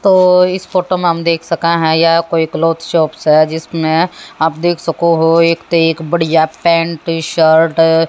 तो इस फोटो में हम देख सकें हैं यह कोई क्लॉथ शॉप्स है जिसमें आप देख सको हो एक ते एक बढ़िया पैंट शर्ट --